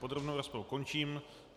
Podrobnou rozpravu končím.